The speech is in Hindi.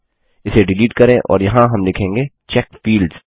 इसे डिलीट करें और यहाँ हम लिखेंगे चेक फील्ड्स